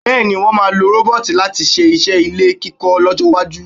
Bẹ́ẹ̀ ni, wọ́n máa lo rọ́bọ́ọ̀tì láti ṣe iṣẹ́ ilé kíkọ́ lọ́jọ́-iwájú.